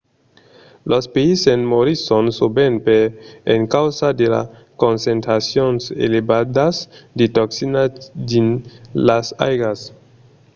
los peisses morisson sovent per encausa de las concentracions elevadas de toxina dins las aigas